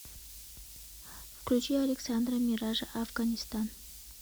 включи александра миража афганистан